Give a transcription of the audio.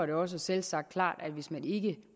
det også selvsagt klart at hvis man ikke